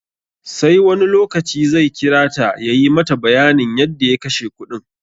Sai wani lokaci zai kira ta ya yi mata bayanin yadda ya kashe kudin.